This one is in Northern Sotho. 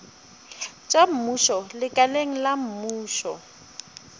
tša mmušo lekaleng la mmušo